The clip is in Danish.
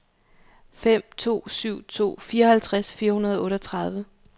fem to syv to fireoghalvtreds fire hundrede og otteogtredive